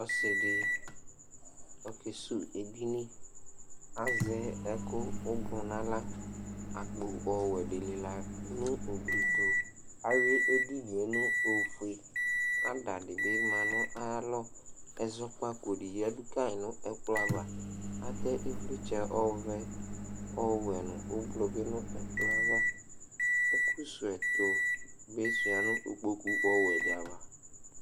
Ɔsɩ dɩ ɔkesuwu edini Azɛ ɛkʋ ʋblʋ nʋ aɣla Akpo ɔwɛ dɩ lɩla nʋ ugli tʋ Ayʋɩ edini yɛ nʋ ofue Ada dɩ bɩ ma nʋ ayalɔ Ɛzɔkpako dɩ yǝdu ka yɩ nʋ ɛkplɔ ava Atɛ ɩvlɩtsɛ ɔvɛ, ɔwɛ nʋ ʋblʋ bɩ nʋ ɛkplɔ yɛ ava Ɛkʋsuwu ɛtʋ bɩ sʋɩa nʋ ikpoku ɔwɛ dɩ ava